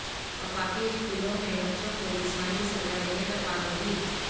وفاقی اسکولوں میں بچوں کو جسمانی سزا دینے پر پابندی